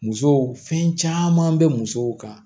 Musow fɛn caman bɛ musow kan